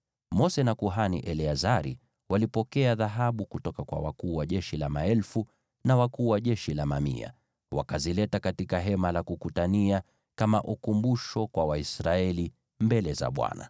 Mose na kuhani Eleazari walipokea dhahabu kutoka kwa wakuu wa jeshi wa maelfu na wakuu wa jeshi wa mamia, wakazileta katika Hema la Kukutania kama ukumbusho kwa Waisraeli mbele za Bwana .